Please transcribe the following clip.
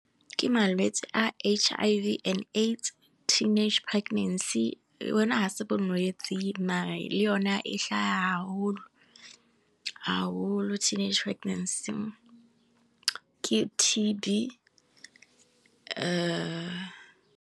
ke malwetsi a H_ I_V and AIDS teenage pregnancy, yo ne ha e se bolwetse mare le yo ne e hlaha ha holo, ha holo teenage pregnancy ke T_ B.